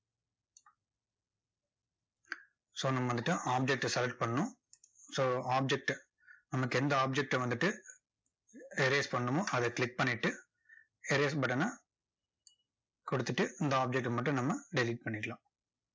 so நம்ம வந்துட்டு object அ select பண்ணணும் so object நமக்கு எந்த object அ வந்துட்டு erase பண்ணணுமோ, அதை click பண்ணிட்டு erase button ன கொடுத்துட்டு, இந்த object டை மட்டும் நம்ம delete பண்ணிக்கலாம்.